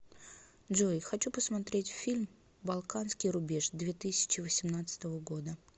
джой хочу посмотреть фильм балканский рубеж две тысячи восемнадцатого года